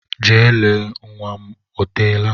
Gaa lee ma nnwa m o teela!